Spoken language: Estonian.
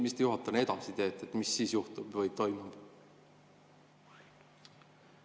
Mis te juhatajana edasi teete, mis siis juhtub või toimub?